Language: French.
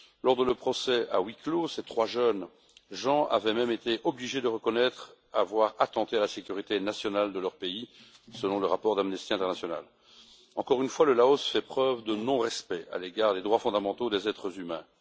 Lors de leur procès à huis clos ces trois jeunes gens avaient même été obligés de reconnaître avoir attenté à la sécurité nationale de leur pays, selon le rapport d'Amnesty International. Encore une fois, le Laos fait preuve de non respect à l'égard des droits fondamentaux des êtres humains.